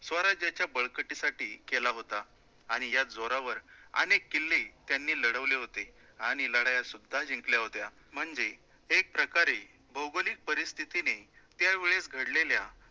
स्वराज्याच्या बळकटीसाठी केला होता आणि या जोरावर अनेक किल्ले त्यांनी लढवले होते आणि लढाया सुद्धा जिंकल्या होत्या म्हणजे एक प्रकारे भौगोलिक परिस्थितीने त्यावेळेस घडलेल्या